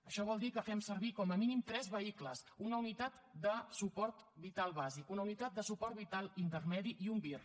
això vol dir que fem servir com a mínim tres vehicles una unitat de suport vital bàsic una unitat de suport vital intermedi i un vir